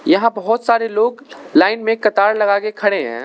यहां बहोत सारे लोग लाइन में कतार लगा के खड़े हैं।